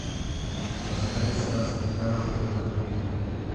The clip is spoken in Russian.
поставь стас михайлов только ты